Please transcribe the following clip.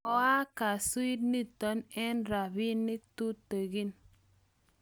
koaak kanzuit n ito eng' robinik tutegen